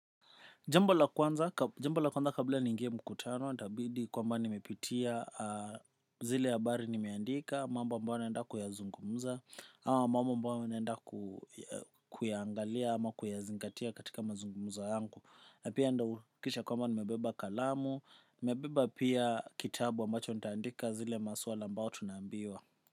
Jambo la kwanza kabla niingie mkutano, itabidi kwamba nimepitia zile ha bari nimeandika, mambo ambayo naenda kuyazungumza, ama ambayo naenda kuyangalia ama kuyazingatia katika mazungumzo yangu. Na pia nda ukisha kwamba nimebeba kalamu, mebeba pia kitabu ambacho nitaandika zile maswala ambao tunaambiwa.